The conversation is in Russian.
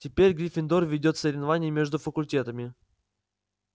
теперь гриффиндор ведёт в соревновании между факультетами